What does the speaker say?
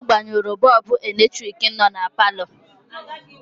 Ọ gbanyụrụ bọọbụ eletrik nọ na palọ.